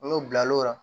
N'o bila l'o la